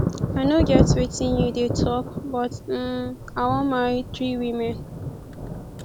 i no get wetin you dey talk but um i wan marry three women